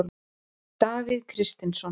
Davíð Kristinsson.